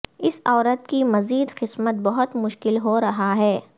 اس عورت کی مزید قسمت بہت مشکل ہو رہا ہے